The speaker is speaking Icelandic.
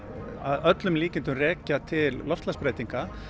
að öllum líkindum rekja til loftslagsbreytinga